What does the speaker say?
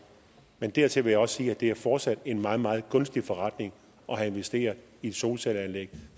men dertil vil jeg også sige at det fortsat er en meget meget gunstig forretning at have investeret i et solcelleanlæg